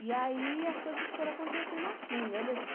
E aí as coisas foram acontecendo assim, né? Desses